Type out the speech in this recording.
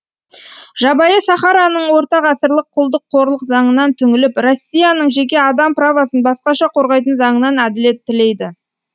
жабайы сахараның ортағасырлық құлдық қорлық заңынан түңіліп россияның жеке адам правосын басқаша қорғайтын заңынан әділет тілейді